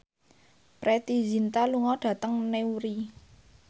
Preity Zinta lunga dhateng Newry